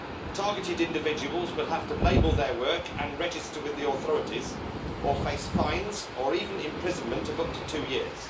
Targeted individuals will have to label their work and register with the authorities or face fines or even imprisonment of up to two years.